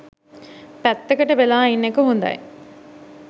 පැත්තකට වෙලා ඉන්න එක හොඳයි.